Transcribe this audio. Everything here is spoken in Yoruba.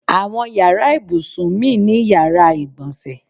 Àwọn yàrá ìbùsùn mi ni yàrá ìgbọ̀nsẹ̀.